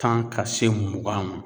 Tan ka se mugan ma